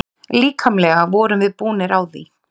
Líkamlega vorum við búnir á því.